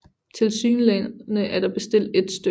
Tilsyneladende er der bestilt 1 stk